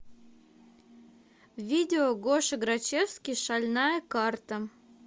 видео гоша грачевский шальная карта